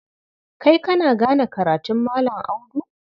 Kai kana gane karatun Malam Audu?